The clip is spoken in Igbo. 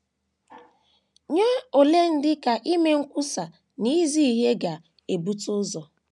Nye ole ndị ka ime nkwusa na izi ihe ga - ebute ụzọ?